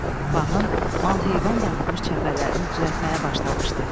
Bağın, mal-heyvan dağıtmış çəpərlərini düzəltməyə başlamışdı.